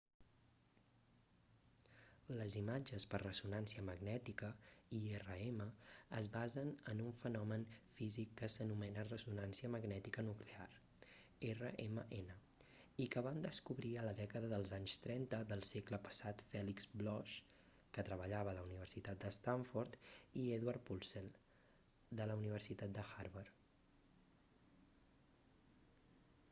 les imatges per ressonància magnètica irm es basen en un fenomen físic que s'anomena ressonància magnètica nuclear rmn i que van descobrir a la dècada dels anys trenta del segle passat felix bloch que treballava a la universitat de stanford i edward purcell de la universitat de harvard